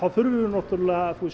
þurfum við náttúrulega